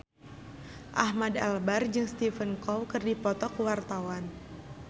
Ahmad Albar jeung Stephen Chow keur dipoto ku wartawan